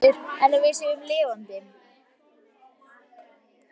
Ég veit ekki betur en við séum lifandi.